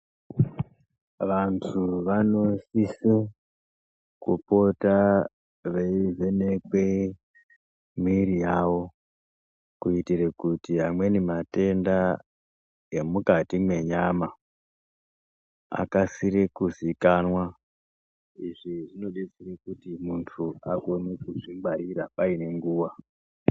Vantu vanosiso kupota eivhenekwe mwiri yavo kuitira kuti amweni matenda emukati mwenyama akasire kuzikanwa. Izvi zvinodetsera kuti muntu akone kuzvingwarira paine nguwa.